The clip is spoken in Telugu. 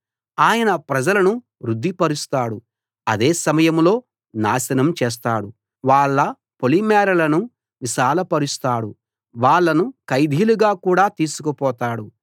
ఆయన ప్రజలను వృద్ది పరుస్తాడు అదే సమయంలో నాశనం చేస్తాడు వాళ్ళ పొలిమేరలను విశాల పరుస్తాడు వాళ్ళను ఖైదీలుగా కూడా తీసుకు పోతాడు